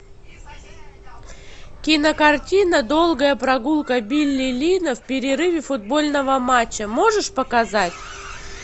кинокартина долгая прогулка билли линна в перерыве футбольного матча можешь показать